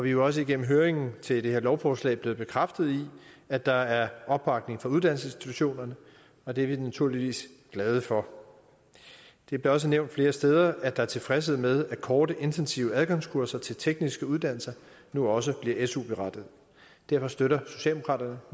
jo også gennem høringen til det her lovforslag er blevet bekræftet i at der er opbakning fra uddannelsesinstitutionerne og det er vi naturligvis glade for det blev også nævnt flere steder at der er tilfredshed med at korte intensive adgangskurser til tekniske uddannelser nu også bliver su berettigede derfor støtter socialdemokraterne